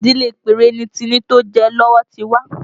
Ìdílé Pẹ́rẹ́ ni Timi tó jẹ lọ́wọ́ ti wá